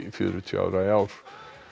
fjörutíu ára í ár